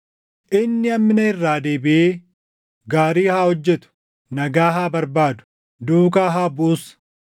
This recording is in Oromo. Inni hammina irraa deebiʼee gaarii haa hojjetu; nagaa haa barbaadu; duukaa haa buʼus.